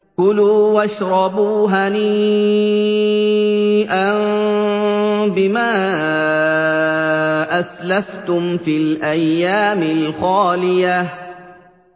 كُلُوا وَاشْرَبُوا هَنِيئًا بِمَا أَسْلَفْتُمْ فِي الْأَيَّامِ الْخَالِيَةِ